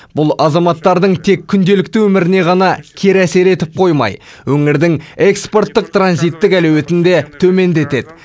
бұл азаматтардың тек күнделікті өміріне ғана кері әсер етіп қоймай өңірдің экспорттық транзиттік әлеуетін де төмендетеді